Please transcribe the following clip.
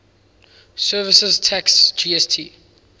services tax gst